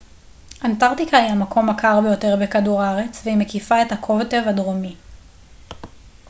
אנטרקטיקה היא המקום הקר ביותר בכדור הארץ והיא מקיפה את הקוטב הדרומי